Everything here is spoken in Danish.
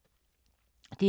DR K